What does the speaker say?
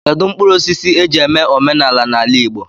Kedụ mkpụrụosisi e ji eme omenala n'ala Igbo?